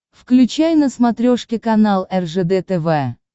включай на смотрешке канал ржд тв